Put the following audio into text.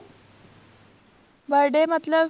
birthday ਮਤਲਬ